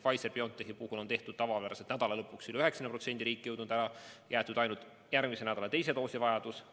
Pfizer/BioNTechi puhul on tavapäraselt nädala lõpuks üle 90% riiki jõudnud doosidest süstitud ja seisma jäetud ainult järgmise nädala teise doosi vajadus.